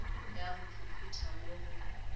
ya go phuphutha mo go